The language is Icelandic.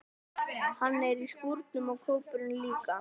Hann er í skúrnum og kópurinn líka.